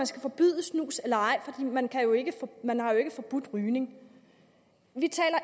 skal forbyde snus eller ej for man har jo ikke forbudt rygning vi taler